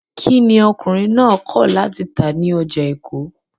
Kí ni ọkùnrin náà kọ̀ láti tà ní ọjà Èkó?